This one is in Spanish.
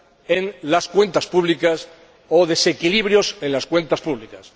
en las cuentas públicas o desequilibrios en las cuentas públicas.